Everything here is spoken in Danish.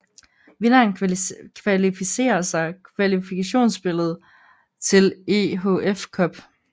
Vinderen kvalificerer sig kvalifkationsspillet til EHF Cup